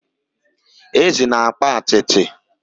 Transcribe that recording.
ezi na-akpa atịtị